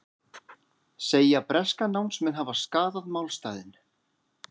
Segja breska námsmenn hafa skaðað málstaðinn